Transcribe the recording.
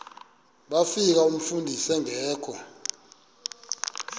bafika umfundisi engekho